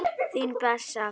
Þín Bessa.